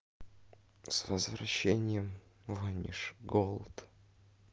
с возвращением ваниш голд